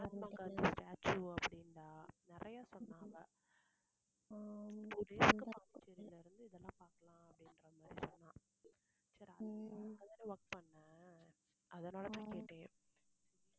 Mahatma Gandhi statue அப்படின்னா நிறைய சொன்னா அவ பாண்டிச்சேரில இருந்து இதெல்லாம் பாக்கலாம் அப்படின்ற மாதிரி சொன்னா சரி அங்கதான work பண்ண அதனால தான் கேட்டேன்